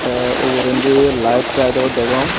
te ugurendi light tight o degong.